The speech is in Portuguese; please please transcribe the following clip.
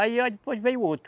Aí, ó, depois veio outro.